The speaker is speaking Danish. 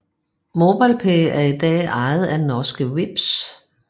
MobilePay er i dag ejet af norske Vipps